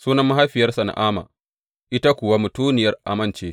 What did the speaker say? Sunan mahaifiyarsa Na’ama, ita kuwa mutuniyar Ammon ce.